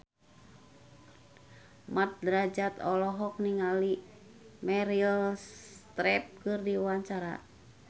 Mat Drajat olohok ningali Meryl Streep keur diwawancara